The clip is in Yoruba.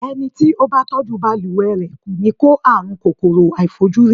Ẹni tí ó bá tọ́jú balùwẹ̀ rẹ̀, kò ní kó àrùn kòkòrò àìfojúrí.